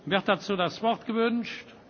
Wird dazu das Wort gewünscht?